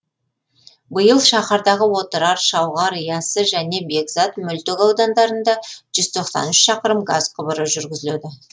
биыл шаһардағы отырар шауғар яссы және бекзат мөлтек аудандарына жүз тоқсан үш шақырым газ құбыры жүргізіледі